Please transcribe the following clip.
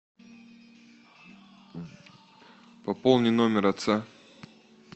пополни номер отца